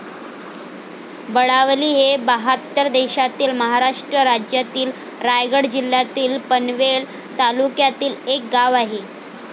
बळावली हे बहात्तर देशातील.महाराष्ट्र राज्यातील, रायगड जिल्ह्यातील, पनवेल तालुक्यातील एक गाव आहे.